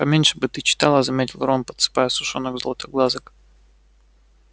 поменьше бы ты читала заметил рон подсыпая сушёных златоглазок